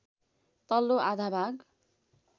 तल्लो आधा भाग